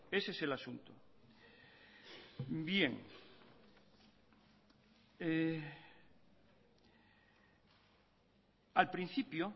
ese es el asunto bien al principio